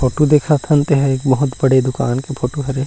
Photo दिखत हन तेन ह बहुत बड़े दुकान के फोटो हरे।